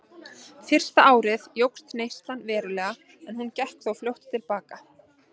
Fyrsta árið jókst neyslan verulega en hún gekk þó fljótt til baka.